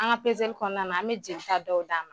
An ŋa pezeli kɔɔna na an me jelita dɔw d'a ma.